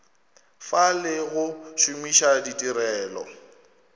fa le go šomiša ditirelo